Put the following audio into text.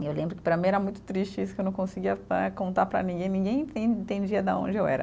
E eu lembro que para mim era muito triste isso, que eu não conseguia né, contar para ninguém, ninguém entendia de onde eu era.